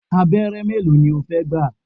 Abẹ́rẹ́ mélòó ni o fẹ́ gbà?